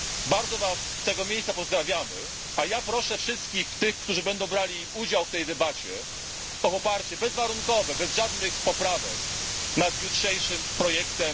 Bardzo Was z tego miejsca pozdrawiamy, a ja proszę wszystkich tych, którzy będą brali udział w tej debacie o to, by jutro bezwarunkowo, bez żadnych poprawek, poparli jutro projekt.